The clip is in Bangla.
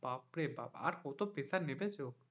বাপরে বাপ আর কত pressure মেপেছ,